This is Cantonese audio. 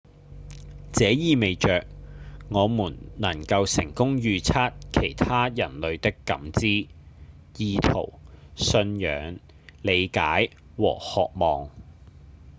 這意味著我們能夠成功預測其他人類的感知、意圖、信仰、理解和渴望